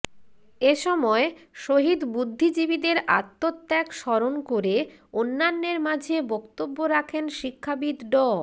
এসময় শহীদ বুদ্ধিজীবীদের আত্মত্যাগ স্মরণ করে অন্যান্যের মাঝে বক্তব্য রাখেন শিক্ষাবিদ ড